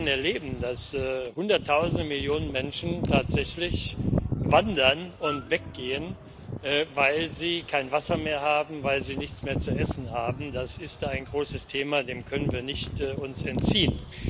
Aber wir werden erleben, dass Hunderttausende, Millionen Menschen tatsächlich wandern und weggehen, weil sie kein Wasser mehr haben, weil sie nichts mehr zu essen haben das ist ein großes Thema, dem können wir uns nicht entziehen.